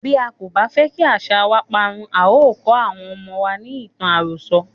Bí a kò bá fẹ́ kí àṣàa wa parun, a o kó àwọn ọmọ wa ní ìtàn àròso.